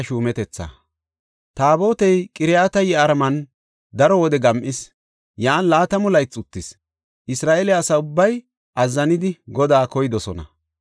Taabotey Qiriyat-Yi7aariman daro wode gam7is; yan laatamu laythi uttis. Isra7eele asa ubbay azzanidi Godaa koydosona.